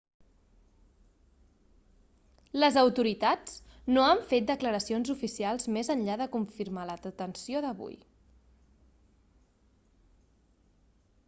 les autoritats no han fet declaracions oficials més enllà de confirmar la detenció d'avui